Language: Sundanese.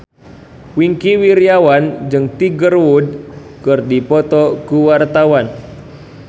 Wingky Wiryawan jeung Tiger Wood keur dipoto ku wartawan